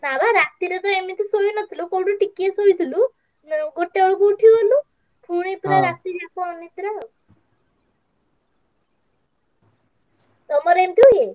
ନାଁ ବା ରାତିରେ ତ ଏମିତି ଶୋଇନଥିଲୁ କୋଉଠି ଟିକିଏ ଶୋଇଥିଲୁ ଗୋଟେବେଳକୁ ଉଠିଗଲୁ ପୁଣି ରାତି ଯାକ ଅନିଦ୍ରା ଆଉ। ତମର ଏମିତି ହୁଏ?